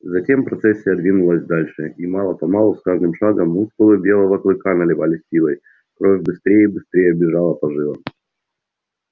затем процессия двинулась дальше и мало-помалу с каждым шагом мускулы белого клыка наливались силой кровь быстрее и быстрее бежала по жилам